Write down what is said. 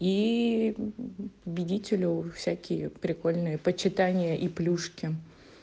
и победителю всякие прикольные почитания и плюшки